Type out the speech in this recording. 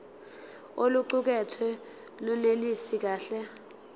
oluqukethwe lunelisi kahle